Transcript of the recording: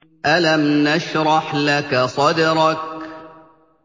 أَلَمْ نَشْرَحْ لَكَ صَدْرَكَ